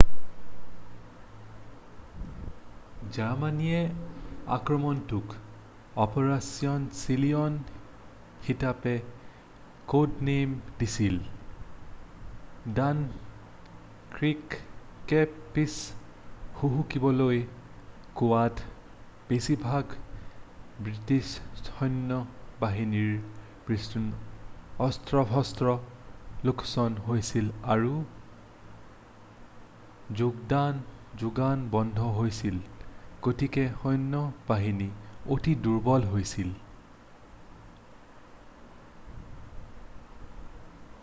"জাৰ্মাণীয়ে আক্ৰমণটোক "operation Sea Lion" হিচাপে code নাম দিছিল। ডানক্ৰিকে পিছ হুহুকিবলৈ কোৱাত বেছিভাগ বৃষ্টিছ সৈন্য বাহিনীৰ বৃহৎ অস্ত্ৰ-শস্ত্ৰ লোকচান হৈছিল আৰু যোগান বন্ধ হৈছিল গতিকে সৈন্য-বাহিনী অতি দুৰ্বল হৈছিল। "